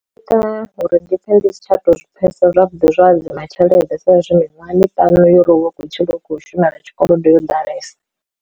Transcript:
Zwi ita uri ndi pfhe ndi si tsha to zwi pfhesesa zwavhuḓi zwa hadzima tshelede saizwi miṅwahani ṱanu uri hu vha hu khou tshila u khou shumela tshikolodo yo ḓalesa.